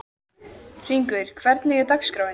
Hringur, hvernig er dagskráin?